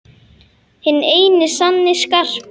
Hinn eini sanni Skarpi!